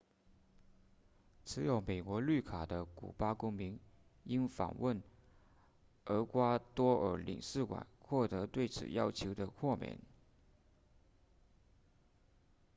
持有美国绿卡的古巴公民应访问厄瓜多尔领事馆获得对此要求的豁免